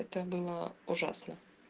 это было ужасно